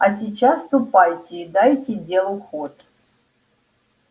а сейчас ступайте и дайте делу ход